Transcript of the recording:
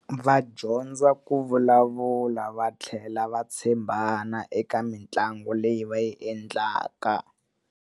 Va dyondza ku vulavula va tlhela va tshembana eka mitlangu leyi va yi endlaka.